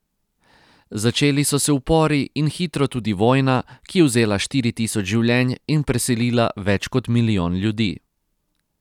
Začeli so se upori in hitro tudi vojna, ki je vzela štiri tisoč življenj in preselila več kot milijon ljudi.